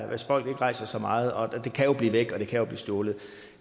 hvis folk ikke rejser så meget og det kan jo blive væk og det kan jo blive stjålet